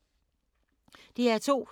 DR2